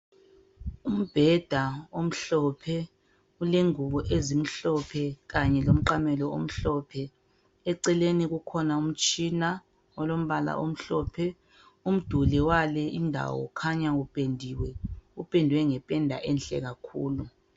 Umbheda omhlophe ulengubo ezimhlophe kanye lomqamelo omhlophe, eceleni kukhona umtshina olombala omhlophe, umduli wale indawo khanya upendiwe, upendwe ngependa enhle kakhulu.